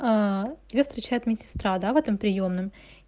ээ тебя встречает медсестра да в этом приёмном